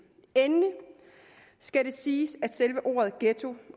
endelig skal det siges at selve ordet ghetto